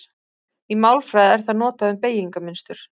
Í málfræði er það notað um beygingarmynstur.